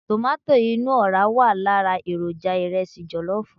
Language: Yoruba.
Tomato inú ọ̀ra wà lára èròjà ìrẹsì jọ̀lọ́fù.